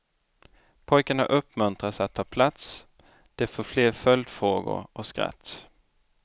Pojkarna uppmuntras att ta plats, de får fler följdfrågor och skratt.